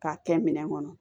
K'a kɛ minɛn kɔnɔ